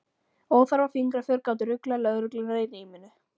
Óþarfa fingraför gátu ruglað lögregluna í ríminu.